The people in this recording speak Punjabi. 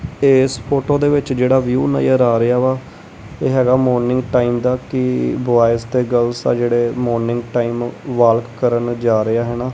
ਇਸ ਫ਼ੋਟੋ ਦੇ ਵਿੱਚ ਜਿਹੜਾ ਵਿਊ ਨਜ਼ਰ ਆ ਰਿਹਾ ਵਾ ਇਹ ਹੈਗਾ ਮੋਰਨਿੰਗ ਟਾਈਮ ਦਾ ਕੀ ਬੋਇਸ ਤੇ ਗਰਲਸ ਆ ਜਿਹੜੇ ਮੋਰਨਿੰਗ ਟਾਈਮ ਵਾਲਕ ਕਰਨ ਜਾ ਰਹੇ ਹੈ ਨਾ।